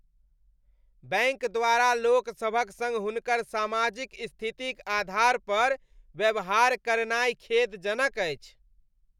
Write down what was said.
Bank द्वारा लोकसभक सङ्ग हुनकर सामाजिक स्थितिक आधार पर व्यवहार करनाय खेदजनक अछि।